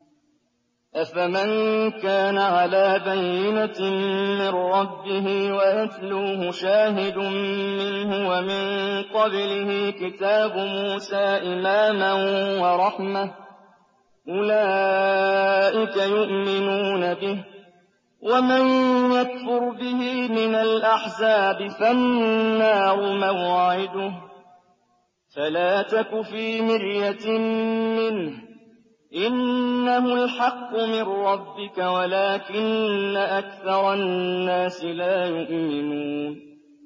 أَفَمَن كَانَ عَلَىٰ بَيِّنَةٍ مِّن رَّبِّهِ وَيَتْلُوهُ شَاهِدٌ مِّنْهُ وَمِن قَبْلِهِ كِتَابُ مُوسَىٰ إِمَامًا وَرَحْمَةً ۚ أُولَٰئِكَ يُؤْمِنُونَ بِهِ ۚ وَمَن يَكْفُرْ بِهِ مِنَ الْأَحْزَابِ فَالنَّارُ مَوْعِدُهُ ۚ فَلَا تَكُ فِي مِرْيَةٍ مِّنْهُ ۚ إِنَّهُ الْحَقُّ مِن رَّبِّكَ وَلَٰكِنَّ أَكْثَرَ النَّاسِ لَا يُؤْمِنُونَ